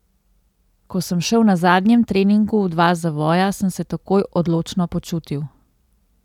Ko sem šel na zadnjem treningu v dva zavoja, sem se takoj odločno počutil.